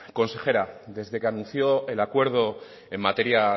consejera desde que anunció el acuerdo en materia